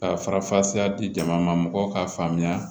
Ka farafasiya di jamana ma mɔgɔw k'a faamuya